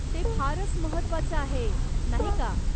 ते फारच महत्वाचं आहे, नाही का?